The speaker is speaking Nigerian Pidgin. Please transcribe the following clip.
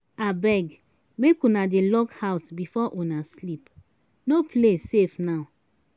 abeg make una dey lock house before una sleep. no place safe now.